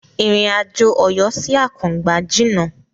Ìrìn àjò Ọ̀yọ́ sí Àkùngbá jìna.